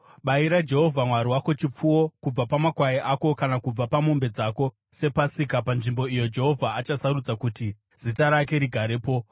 Bayira Jehovha Mwari wako chipfuwo kubva pamakwai ako kana kubva pamombe dzako sePasika panzvimbo iyo Jehovha achasarudza kuti Zita rake rigarepo.